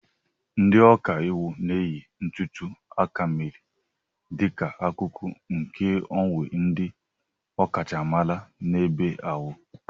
Ndị ọka iwu na-eyi ntùtù akamèrè dịka akụkụ nke uwe ndị ọkachamara n'ebe ahụ.